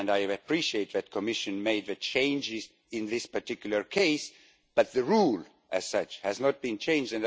I appreciate that the Commission has made changes in this particular case, but the rule as such has not been changed.